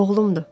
Oğlumdur.